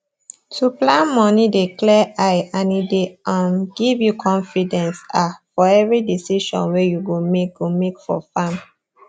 to plan moni dey clear eye and e dey um give you confidence um for every decision wey you go make go make for farm